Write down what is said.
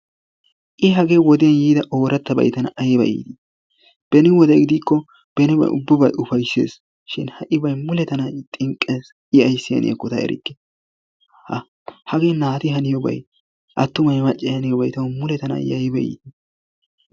I hagee wodee yiida oorattabay tana ayiba iitii! Beni wode gidikko benibay ubbabay ufaysses shin ha'ibay mule tana xinqqes i ayissi haniyaakko ta erikka. Hagee naati haniyobay attumay maccay haniyobay mule i tana ayiba iitii!